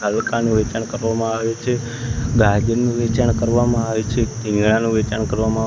વેચાણ કરવામાં આવે છે ગાદીનું વેચાણ કરવામાં આવે છે વેચાણ કરવામાં--